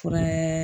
Fura